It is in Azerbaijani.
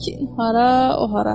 Kin hara, o hara?